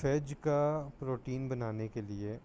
phage کا protein بنانے کے لئے